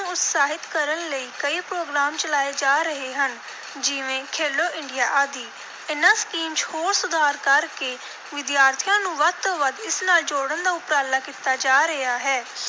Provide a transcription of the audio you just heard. ਉਤਸ਼ਾਹਿਤ ਕਰਨ ਲਈ ਕਈ program ਚਲਾਏ ਜਾ ਰਹੇ ਹਨ, ਜਿਵੇਂ ਖੇਲੋ ਇੰਡੀਆ ਆਦਿ। ਇਨ੍ਹਾਂ ਸਕੀਮ ਚ ਹੋਰ ਸੁਧਾਰ ਕਰ ਕੇ ਵਿਦਿਆਰਥੀਆਂ ਨੂੰ ਵੱਧ ਤੋਂ ਵੱਧ ਇਸ ਨਾਲ ਜੋੜਨ ਦਾ ਉਪਰਾਲਾ ਕੀਤਾ ਜਾ ਰਿਹਾ ਹੈ,